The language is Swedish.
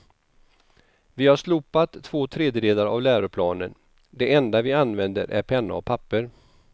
Vi har slopat två tredjedelar av läroplanen, det enda vi använder är penna och papper.